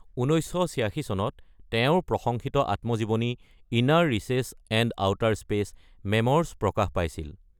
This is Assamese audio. ১৯৮৬ চনত তেওঁৰ প্ৰশংসিত আত্মজীৱনী inner reaches and outer space: memoirs প্ৰকাশ পাইছিল।